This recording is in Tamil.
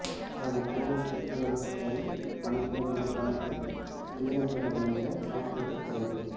சக பொலிஸ் உத்தியோகஸ்தரின் கணக்கிலிருந்து பணத்தை மீளப்பெற முயன்ற கான்ஸ்டபிள் கைது